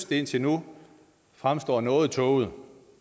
det indtil nu fremstår noget tåget